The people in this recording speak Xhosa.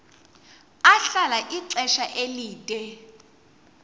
ahlala ixesha elide